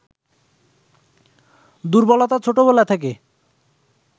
দুর্বলতা ছোটবেলা থেকে